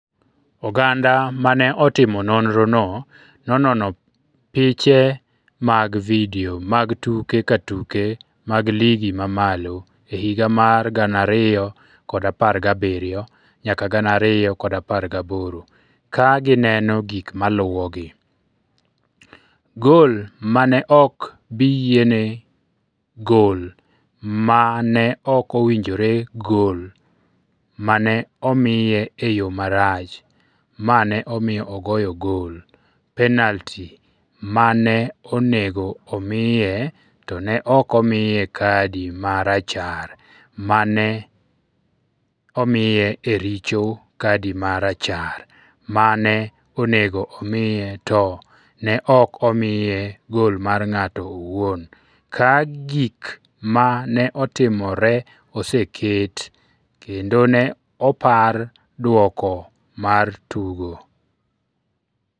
Oganda ma ne otimo nonrono nonono piche mag vidio mag tuke ka tuke mag Ligi ma malo e higa mar 2017-2018 ka gineno gik maluwogi: Gol ma ne ok bi yiene Gol ma ne ok owinjore Gol ma ne omiye e yo marach (ma ne omiyo ogoyo goal) Penalti ma ne onego omiye to ne ok omiye kadi ma Rachar ma ne omiye e richo Kadi ma Rachar ma ne onego omiye to Ne ok omiye goal mar ng’ato owuon Ka gik ma ne otimore oseket, kendo ne opar duoko mar tugo.